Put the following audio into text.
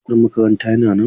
Bus din makaranta yana nan?